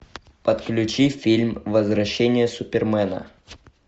подключи фильм возвращение супермена